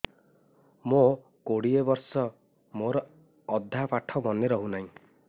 ମୋ କୋଡ଼ିଏ ବର୍ଷ ମୋର ଅଧା ପାଠ ମନେ ରହୁନାହିଁ